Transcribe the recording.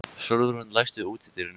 Sólrún, læstu útidyrunum.